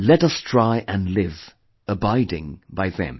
Let us try & live, abiding by them